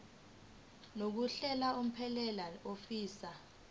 yokuhlala unomphela ofisa